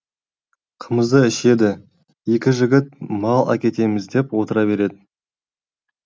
қымызды ішеді екі жігіт мал әкетеміз деп отыра береді